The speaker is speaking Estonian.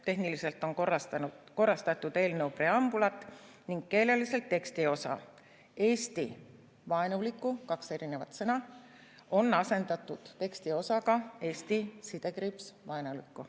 Tehniliselt on korrastatud eelnõu preambulit ning keeleliselt tekstiosa: "Eesti vaenuliku", kaks sõna, on asendatud tekstiosaga "Eesti-vaenuliku".